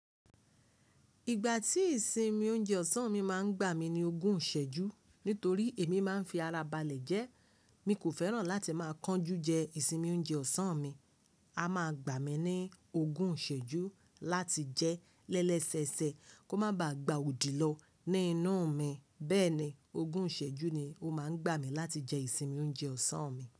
Ìgbà tí ìsinmi oúnjẹ ọ̀sán mi máa ń gbà mí ní ogún ìsẹ́jú nítorí èmi máa ń fi ara balẹ̀ jẹ. Mi kò fẹ́ràn láti máa kánjú jẹ ìsinmi oúnjẹ ọ̀sán mi. A máa gbà mí ní ogún ìsẹ́jú láti jẹ lẹ́lẹ́sẹ̀sẹ̀ kó má ba à gba òdì lọ ní inú mi. Bẹ́ẹ̀ ni ogún ìsẹ́jú ni ó máa ń gbà mí láti jẹ ìsinmi oúnjẹ ọ̀sán mi.